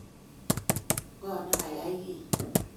Ng'oo ne kayai kii?